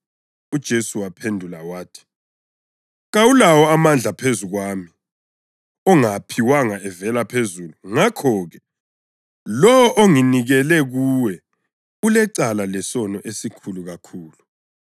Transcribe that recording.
UJesu waphendula wathi, “Kawulawo amandla phezu kwami ongawaphiwanga evela phezulu. Ngakho-ke, lowo onginikele kuwe ulecala lesono esikhulu kakhulu.”